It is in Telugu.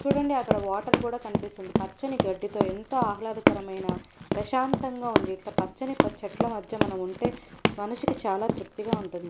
చూడండి అక్కడ వాటర్ కూడా కనిపిస్తుంది పచ్చని గడ్డితో ఎంత ఆహ్లాదకరమైన ప్రశాంతంగా ఉంది. ఇట్ల పచ్చని ప చెట్ల మధ్య మనం ఉంటే మనిషికి చాలా తృప్తిగా ఉంటుంది.